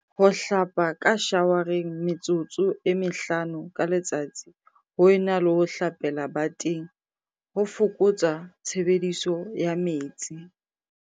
Ho hlapa ka shawareng metsotso e mehlano ka letsatsi ho e na le ho hlapela bateng ho foko tsa tshebediso ya metsi.